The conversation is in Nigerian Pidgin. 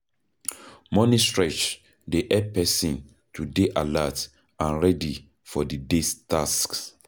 Morning stretch dey help person to dey alert and ready for di day's tasks